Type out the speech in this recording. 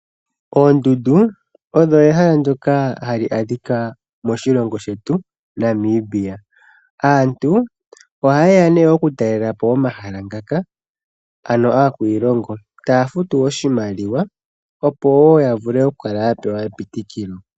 Oondundu, odho ehala ndyoka hali adhika moshilongo shetu, Namibia. Aantu oha yeya nee oku talela po omahala ngaka, ano akwiilongo taya futu oshimaliwa opo wo ya vule oku kala ya pewa epitikilo.